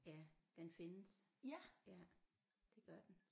Ja den findes ja det gør den